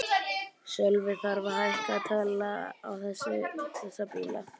Sölvi: Þarf að hækka tolla á þessa bíla?